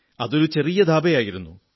അതൊരു ചെറിയ ദാബയായിരുന്നു